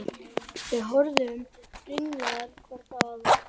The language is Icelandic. Við horfðum ringlaðar hvor á aðra.